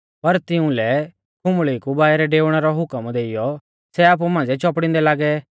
पर तिउंलै खुंबल़ी कु बाइरै डेउणै रौ हुकम देइयौ सै आपु मांझ़िऐ चौपड़िंदै लागै